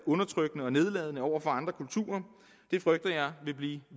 undertrykkende og nedladende over for andre kulturer det frygter jeg vil blive